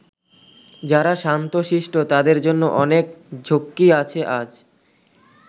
যারা শান্ত শিষ্ট তাদের জন্য অনেক ঝক্কি আছে আজ।